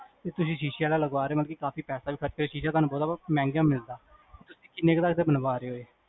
ਇਹ ਤੁਸੀਂ ਸ਼ੀਸ਼ੇ ਆਲਾ ਲਗਵਾ ਰੇ ਹੋ, ਬਲਕਿ ਕਾਫੀ ਪੈਸਾ ਵੀ ਖਰ੍ਚੋਗੇ ਸ਼ੀਸ਼ੇ ਤੇ ਤੁਹਾਨੂੰ ਬਹੁਤ ਮਹਿੰਗਾ ਮਿਲਦਾ ਤੁਸੀਂ ਕੀਨੇ ਤਕ ਦਾ ਬਣਵਾ ਰੇ ਜੇ